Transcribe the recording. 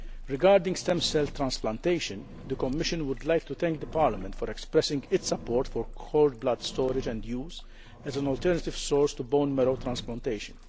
Regarding stem cell transplantation, the Commission would like to thank Parliament for expressing its support for cord blood storage and use as an alternative source to bone marrow transplantation.